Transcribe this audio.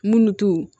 Munnu to